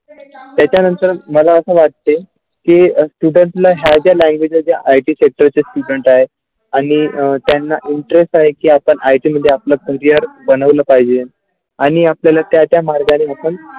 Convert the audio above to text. याच्यानंतर मला असा वाटते की student ला ह्या Language जे आहे ती IT सेक्टर चे Student आहे आणि त्यांना interest आहे की आपण IT मध्ये आपल्या Career बनवलं पाहिजे आपल्याला त्याचा मार्गाने आपण.